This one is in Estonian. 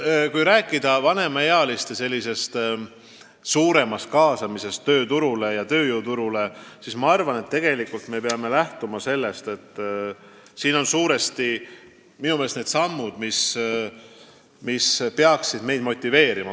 Kui rääkida vanemaealiste suuremast kaasamisest tööturule ja tööjõuturule, siis minu arvates me peame lähtuma sellest, millised sammud peaksid inimesi motiveerima tööd jätkama.